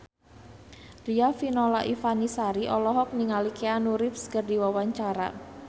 Riafinola Ifani Sari olohok ningali Keanu Reeves keur diwawancara